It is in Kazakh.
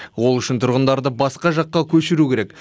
ол үшін тұрғындарды басқа жаққа көшіру керек